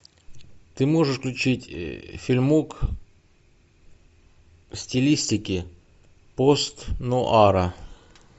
ты можешь включить фильмок в стилистике постнуара